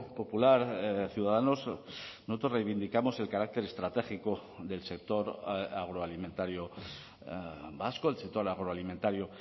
popular ciudadanos nosotros reivindicamos el carácter estratégico del sector agroalimentario vasco el sector agroalimentario